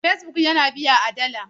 Facebook yana biya a dala.